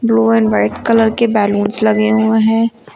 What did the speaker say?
Blue and white colour के balloons लगे हुए हैं।